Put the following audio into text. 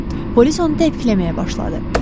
Polis onu təpikləməyə başladı.